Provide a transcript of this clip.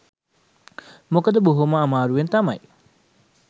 මොකද බොහොම අමාරුවෙන් තමයි